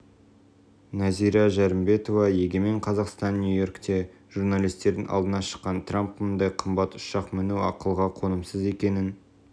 нәзира жәрімбетова егемен қазақстан нью-йоркте журналистердің алдына шыққан трамп мұндай қымбат ұшақ міну ақылға қонымсыз екенін